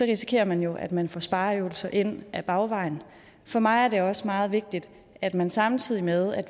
risikerer man jo at man får spareøvelser ind ad bagvejen for mig er det også meget vigtigt at man samtidig med at